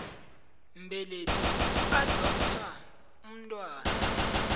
mbelethi ukuadoptha umntwana